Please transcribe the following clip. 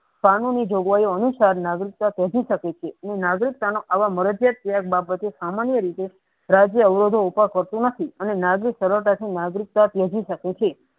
કાનૂની જોગવાયી અનુસારના રાજી શકે છે એની નાગરિકતા માં મરજિયાત બાબતે સામાન્ય રીતે રાજ્ય અવરોધે ઉપર થતી નથી ત્યજી શકે છે.